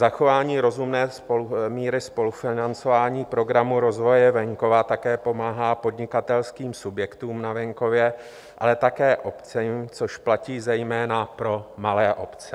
Zachování rozumné míry spolufinancování programu rozvoje venkova také pomáhá podnikatelským subjektům na venkově, ale také obcím, což platí zejména pro malé obce.